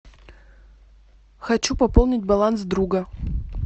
хочу пополнить баланс друга